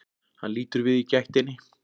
Hann lítur við í gættinni.